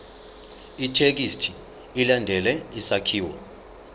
ithekisthi ilandele isakhiwo